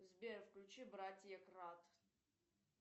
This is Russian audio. сбер включи братья крат